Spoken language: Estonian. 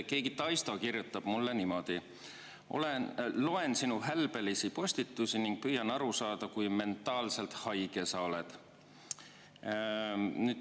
Keegi Taisto kirjutab mulle niimoodi: "Loen sinu hälbelisi postitusi ning püüan aru saada, kui mentaalselt haige sa oled.